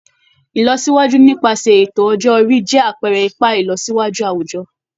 Ìlọsíwájú nípasẹ̀ ètò ọjọ́ orí jẹ́ àpẹẹrẹ ipa ìlọsíwájú àwùjọ